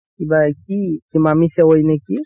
কিবা কি ইমামি চেৱাই নে কি